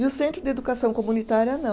E o centro de educação comunitária não.